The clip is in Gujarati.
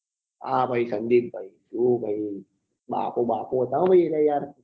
હા ભાઈ સંદીપ ભાઈ શું ભાઈ બાપો બાપો હતા હો ભાઈ યાર